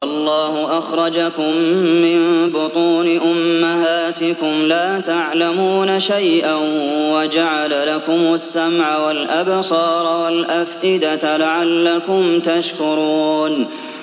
وَاللَّهُ أَخْرَجَكُم مِّن بُطُونِ أُمَّهَاتِكُمْ لَا تَعْلَمُونَ شَيْئًا وَجَعَلَ لَكُمُ السَّمْعَ وَالْأَبْصَارَ وَالْأَفْئِدَةَ ۙ لَعَلَّكُمْ تَشْكُرُونَ